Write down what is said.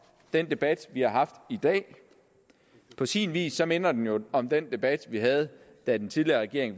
den debat vi har haft i dag på sin vis minder den jo om den debat vi havde da den tidligere regering